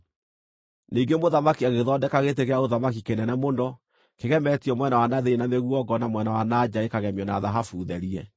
Ningĩ mũthamaki agĩthondeka gĩtĩ gĩa ũthamaki kĩnene mũno, kĩgemetio mwena wa na thĩinĩ na mĩguongo na mwena wa na nja gĩkagemio na thahabu therie.